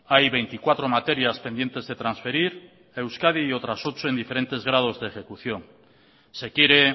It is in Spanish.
hay veinticuatro materias pendientes de transferir a euskadi y otras ocho en diferentes grados de ejecución se quiere